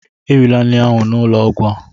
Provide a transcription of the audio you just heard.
Erila nri ahụ n'ụlọ ọgwụ a!